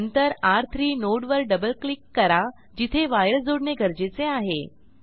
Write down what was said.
नंतर र3 नोड वर डबल क्लिक करा जिथे वायर जोडणे गरजेचे आहे